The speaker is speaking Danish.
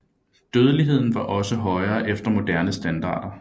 Dødeligheden var også højere efter moderne standarder